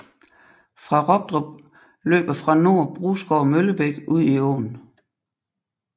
Ved Robdrup løber fra nord Brusgård Møllebæk ud i åen